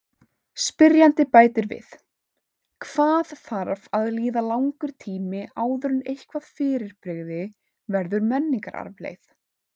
Spyrjandi bætir við: Hvað þarf að líða langur tími áður en eitthvað fyrirbrigði verður menningararfleifð?